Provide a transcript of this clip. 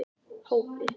Hópi